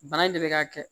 Bana in de bɛ ka kɛ